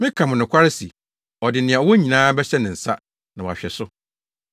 Meka mo nokware se ɔde nea ɔwɔ nyinaa bɛhyɛ ne nsa na wahwɛ so!